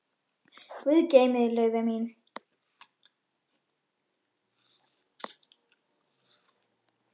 Guð geymi þig, Laufey mín.